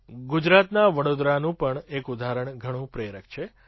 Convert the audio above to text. ગુજરાતના વડોદરાનું પણ એક ઉદાહરણ ઘણું પ્રેરક છે